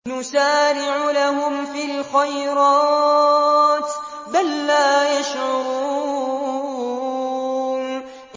نُسَارِعُ لَهُمْ فِي الْخَيْرَاتِ ۚ بَل لَّا يَشْعُرُونَ